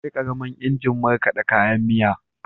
Akwai ƙaramin injin markaɗa kayan miya.